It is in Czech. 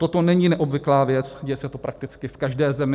Toto není neobvyklá věc, děje se to prakticky v každé zemi.